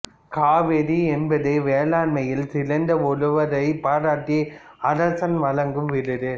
காவிதி என்பது வேளாண்மையில் சிறந்த உழவரைப் பாராட்டி அரசன் வழங்கும் விருது